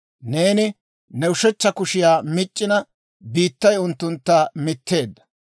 Neeni ne ushechcha kushiyaa mic'c'ina, biittay unttuntta mitteedda.